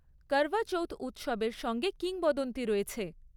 করভা চৌথ উৎসবের সঙ্গে কিংবদন্তি রয়েছে।